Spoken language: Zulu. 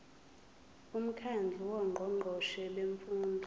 umkhandlu wongqongqoshe bemfundo